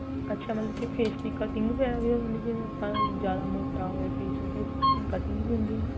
ਅੱਛਾ ਮਤਲਬ ਕੀ face ਦੀ cutting ਵਗਿਆਰਾ ਵੀ ਹੋ ਜਾਂਦੀ ਏ ਜਿਵੇਂ ਆਪਾਂ ਜਿਆਦਾ ਮੋਟਾ ਹੋਏ face ਉਹਦੇ cutting ਵੀ ਹੁੰਦੀ ਏ ਨਾ